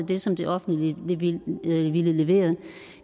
det som det offentlige ville levere